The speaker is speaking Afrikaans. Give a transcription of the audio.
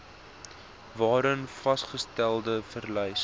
waarin vasgestelde verliese